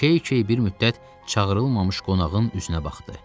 Key-key bir müddət çağırılmamış qonağın üzünə baxdı.